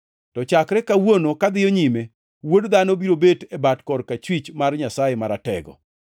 To chakre kawuono kadhiyo nyime, Wuod Dhano biro bet e bat korachwich mar Nyasaye Maratego.”